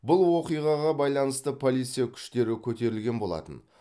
бұл оқиғаға байланысты полиция күштері көтерілген болатын